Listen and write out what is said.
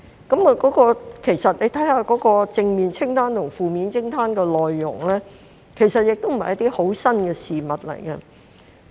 大家看看正面清單及負面清單的內容，其實不是甚麼新事物。